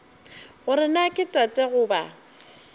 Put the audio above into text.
gore na ke tate goba